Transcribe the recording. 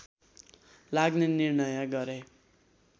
लाग्ने निर्णय गरे